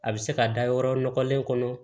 A bɛ se ka da yɔrɔ nɔgɔlen kɔnɔ